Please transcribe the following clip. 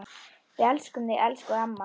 Við elskum þig, elsku amma.